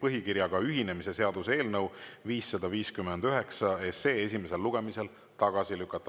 põhikirjaga ühinemise seaduse eelnõu 559 esimesel lugemisel tagasi lükata.